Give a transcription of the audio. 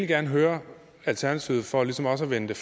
gerne høre alternativet for ligesom også med den